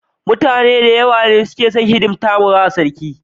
Mutane dayawa ne suke hidimtawa sarki